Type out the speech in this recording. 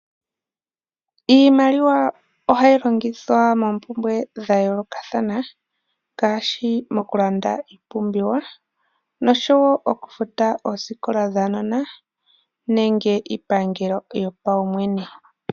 Iimaliwa ohayi longithwa moompumbwe dha yoolokathana, ngaashi mokulanda iipumbiwa nosho woo okufuta oosikola dhaanona nenge iipangelo yopaumwene.